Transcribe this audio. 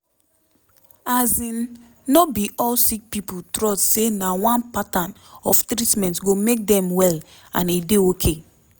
as in no be all sick pipo trust say na one pattern of treatment go make dem well and e dey ok